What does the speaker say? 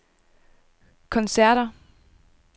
koncerter